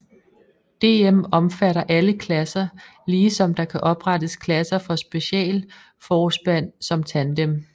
DM omfatter alle klasser lige som der kan oprettes klasser for specialforspand som tandem